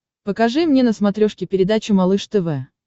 покажи мне на смотрешке передачу малыш тв